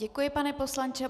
Děkuji, pane poslanče.